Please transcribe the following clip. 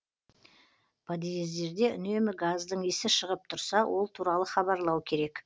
подъездерде үнемі газдың иісі шығып тұрса ол туралы хабарлау керек